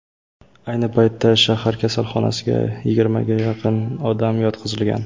Ayni paytda shahar kasalxonasiga yigirmaga yaqin odam yotqizilgan.